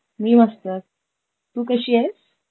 मी मस्त. तू कशी आहेस?